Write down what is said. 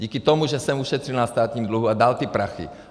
Díky tomu, že jsem ušetřil na státním dluhu a dal ty prachy.